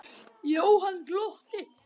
Jóhann glotti.